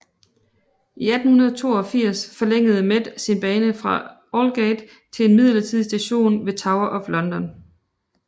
I 1882 forlængede Met sin bane fra Aldgate til en midlertidig station ved Tower of London